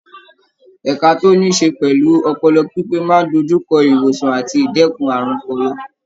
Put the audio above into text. Ẹka tó níí ṣe pẹ̀lú ọpọlọ pípé máa ń dojú kọ ìwòsàn àti ìdẹ́kun àrùn ọpọlọ.